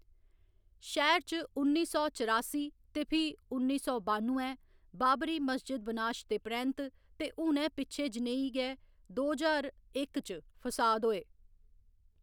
शैह्‌र च उन्नी सौ चरासी ते फ्ही उन्नी सौ बानुएं, बाबरी मस्जिद बिनाश दे परैंत्त ते हुनै पिच्छें जनेही गै दो ज्हार इक च फसाद होए।